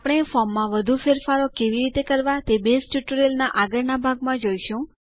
આપણે ફોર્મમાં વધુ ફેરફારો કેવી રીતે કરવા તે બેઝ ટ્યુટોરીયલના આગળના ભાગમાં જોઈશું